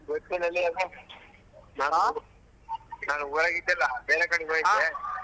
ಗೊತ್ತಿಲಲೇ ನಾನ್ ಊರಾಗ್ ಇದ್ದಿಲ್ಲ ಬೇರೇ ಕಡೆಗ್